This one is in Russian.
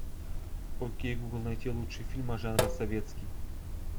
окей гугл найти лучшие фильмы жанра советский